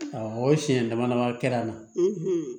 Awɔ o siɲɛ dama dama kɛra an na